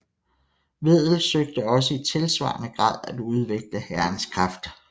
Wedel søgte også i tilsvarende grad at udvikle hærens kraft